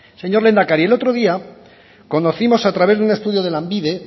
señor lehendakari el otro día conocimos a través de un estudio de lanbide